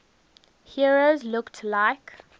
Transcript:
heroes looked like